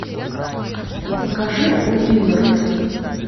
покажи уиллард